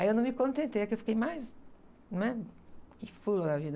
Aí eu não me contentei, é que eu fiquei mais, não é? Fula da vida.